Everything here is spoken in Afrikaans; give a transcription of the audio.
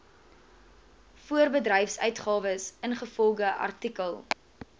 voorbedryfsuitgawes ingevolge artikel